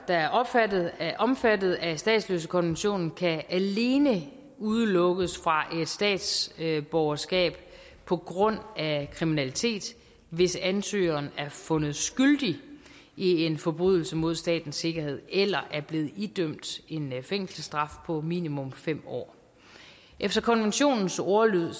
der er omfattet af omfattet af statsløsekonventionen kan alene udelukkes fra et statsborgerskab på grund af kriminalitet hvis ansøgeren er fundet skyldig i en forbrydelse mod statens sikkerhed eller er blevet idømt en fængselsstraf på minimum fem år efter konventionens ordlyd